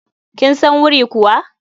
Kin san wuri kuwa?